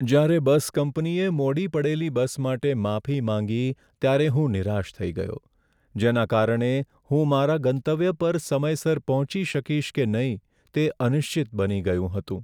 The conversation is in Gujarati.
જ્યારે બસ કંપનીએ મોડી પડેલી બસ માટે માફી માંગી ત્યારે હું નિરાશ થઈ ગયો, જેના કારણે હું મારા ગંતવ્ય પર સમયસર પહોંચી શકીશ કે નહીં તે અનિશ્ચિત બની ગયું હતું.